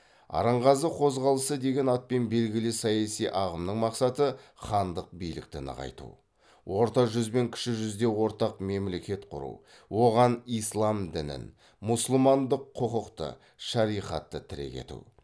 арынғазы қозғалысы деген атпен белгілі саяси ағымның мақсаты хандық билікті нығайту орта жүз бен кіші жүзде ортақ мемлекет құру оған ислам дінін мұсылмандық құқықты шариғатты тірек ету